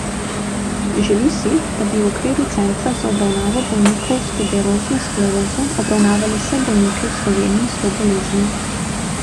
Želi si, da bi v okviru centra za obravnavo bolnikov s tuberozno sklerozo obravnavali vse bolnike v Sloveniji s to boleznijo.